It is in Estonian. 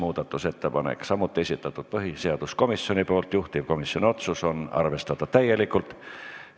Nagu öeldud, kõik on põhiseaduskomisjoni esitatud ja juhtivkomisjoni otsus on arvestada neid täielikult.